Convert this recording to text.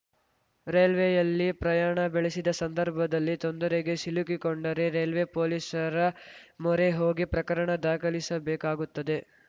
ರೈಲ್ವೆಯಲ್ಲಿ ಪ್ರಯಾಣ ಬೆಳೆಸಿದ ಸಂದರ್ಭದಲ್ಲಿ ತೊಂದರೆಗೆ ಸಿಲುಕಿಕೊಂಡರೆ ರೈಲ್ವೆ ಪೊಲೀಸರ ಮೊರೆ ಹೋಗಿ ಪ್ರಕರಣ ದಾಖಲಿಸಬೇಕಾಗುತ್ತದೆ